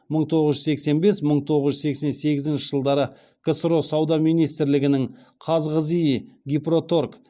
мың тоғыз жүз сексен бес мың тоғыз жүз сексен сегізінші жылдары ксро сауда министрлігінің қазғзи гипроторг